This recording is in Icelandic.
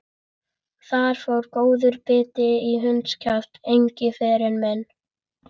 Þar fór góður biti í hundskjaft, Engiferinn minn.